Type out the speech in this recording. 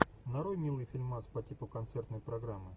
нарой милый фильмас по типу концертной программы